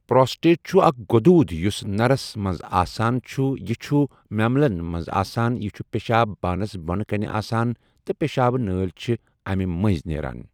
Prostate چھُ اَکھ گۆدوٗد یُس نَرَس مَنٛز آسان چھ یہِ چھُ میمٕلَن مَنٛز آسان یہِ چھُ پیشاب بانَس بۄنہٕ کَنہِ آسَن تہٕ پیشاب نٲلؠ چھِ اَمہِ مٕنٛز نیران۔